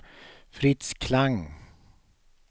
Fritz Klang